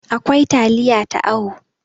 akwai taliya ta awo